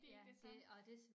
Det ikke det samme